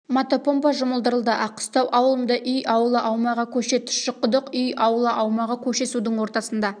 мотопомпа жұмылдырылды аққыстау ауылында үй аула аумағы көше тұщықұдық үй аула аумағы көше судың ортасында